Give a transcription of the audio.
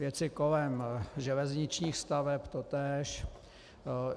Věci kolem železničních staveb totéž.